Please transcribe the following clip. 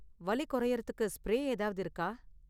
வலி குறையுறதுக்கு ஸ்ப்ரே ஏதாவது இருக்கா?